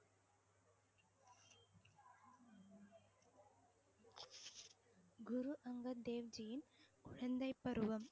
குரு அங்கர் தேவ்ஜியின் குழந்தை பருவம்